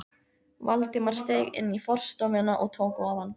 Valdimar steig inn í forstofuna og tók ofan.